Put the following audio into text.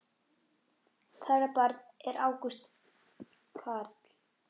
Þeirra barn er Ágúst Carl.